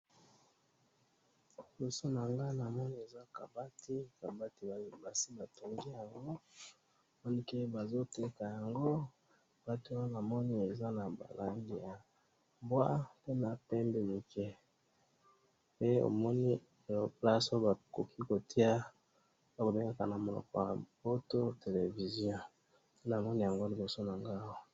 Liboso na nga namoni eza kabati, kabati basi batongi yango ,donc bazo teka yango kabati yango namoni eza na ba langi ya bois pe na pembe muke ,pe omoni place oyo bakoki kotia oyo babengaka na monoko ya poto télévision, namoni yango liboso na ngai awa